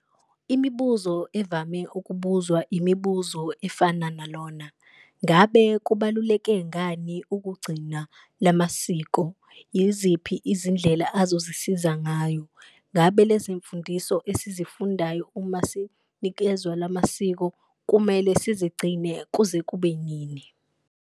Imibuzo evame ukubuzwa imibuzo efana nalona. Ngabe kubaluleke ngani ukugcina la masiko, yiziphi izindlela azosisiza ngayo? Ngabe lezi mfundiso esizifundayo uma sinikezwa la masiko, kumele sizigcine kuze kube nini?